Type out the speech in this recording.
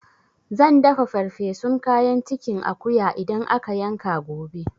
Zan dafa ferfesun kayan cikin akuya idan aka yanka gobe